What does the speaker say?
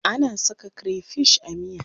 Ana saka krefish a miya.